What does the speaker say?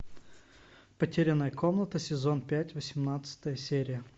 потерянная комната сезон пять восемнадцатая серия